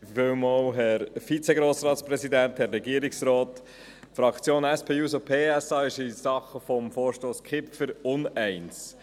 Die Fraktion SP-JUSO-PSA ist in der Sache Vorstoss von Grossrat Kipfer uneins.